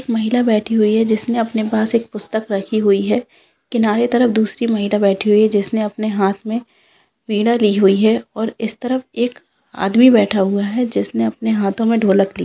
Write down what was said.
एक महिला बैठी हुई है जिसने अपने पास एक पुस्तक रखी हुई है किनारे तरफ दूसरी महिला बैठी हुई है जिसने अपने हाथ में वीणा ली हुई है और इस तरफ एक आदमी बैठा हुआ है जिसने अपने हाथों में ढोलक ली --